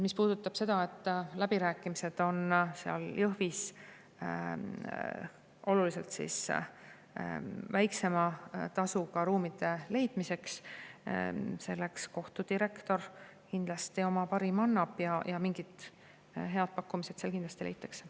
Mis puudutab seda, kas Jõhvis käivad läbirääkimised oluliselt väiksema tasuga ruumide leidmiseks, siis selleks kohtu direktor kindlasti oma parima annab ja mingid head pakkumised seal ehk leitakse.